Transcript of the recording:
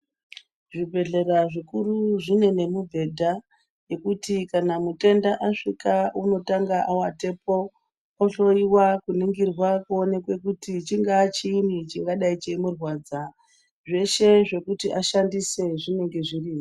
Zvibhedhlera zvikuru zvine mibhedha yekuti kana mutenda asvika unotanga watepo ohloyiwa kuningirwa kuti chingaa chiini chingadayi cheimurwadza. Zveshe zvekuti ashandise zvinenge zvirimwo.